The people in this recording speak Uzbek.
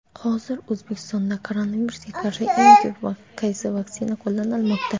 Hozir O‘zbekistonda koronavirusga qarshi eng ko‘p qaysi vaksina qo‘llanilmoqda?.